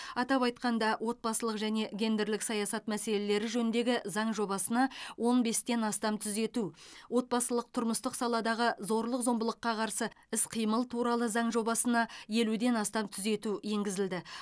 атап айтқанда отбасылық және гендерлік саясат мәселелері жөніндегі заң жобасына он бестен астам түзету отбасылық тұрмыстық саладағы зорлық зомбылыққа қарсы іс қимыл туралы заң жобасына елуден астам түзету енгізілді